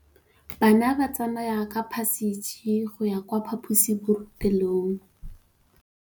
Bana ba tsamaya ka phašitshe go ya kwa phaposiborobalong.